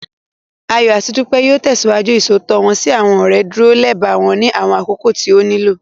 Ayọ̀ àti Dúpẹ́ yóò tẹ̀síwájú Ìṣòótọ́ wọ́n sí àwọn ọ̀rẹ́, dúró lẹba wọn ní àwọn àkókò tí ó nílò